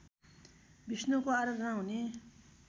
विष्णुको आराधना हुने